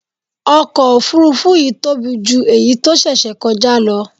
Ọkọ̀ Òfurufú yìí tóbi jù èyí tó ṣẹ̀ṣẹ̀ kọjá lọ.